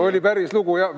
Oli päris lugu!